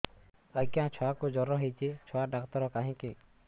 ଆଜ୍ଞା ଛୁଆକୁ ଜର ହେଇଚି ଛୁଆ ଡାକ୍ତର କାହିଁ କି